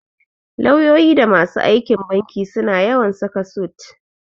Lauyoyi da masu aikin banki suna yawan saka sut.